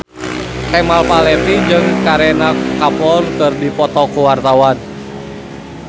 Kemal Palevi jeung Kareena Kapoor keur dipoto ku wartawan